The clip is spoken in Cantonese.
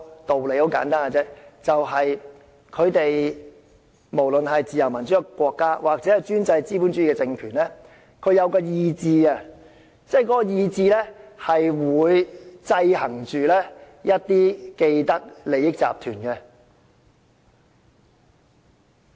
道理很簡單，就是不論是自由民主的國家抑或專制資本主義的政權，也是有意志的，而意志就會制衡着一些既得利益集團。